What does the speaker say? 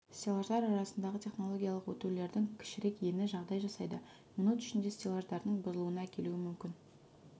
стеллаждар арасындағы технологиялық өтулердің кішірек ені жағдай жасайды минут ішінде стеллаждардың бұзылуына әкелуі мүмкін